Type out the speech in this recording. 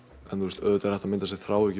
auðvitað er hægt að mynda sér þráhyggju